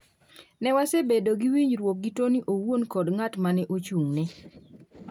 Ne wasebedo gi winjruok gi Toni owuon kod ng’at ma ne ochung’ne.